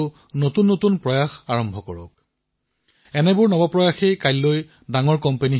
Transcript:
আপোনালোকৰ প্ৰয়াস আজিৰ সৰুসৰু ষ্টাৰ্টআপ কাইলৈ বৃহৎ উদ্যোগলৈ ৰূপান্তৰিত হব আৰু বিশ্বত ভাৰতৰ পৰিচয় দাঙি ধৰিব